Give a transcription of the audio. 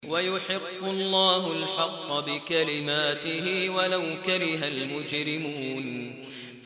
وَيُحِقُّ اللَّهُ الْحَقَّ بِكَلِمَاتِهِ وَلَوْ كَرِهَ الْمُجْرِمُونَ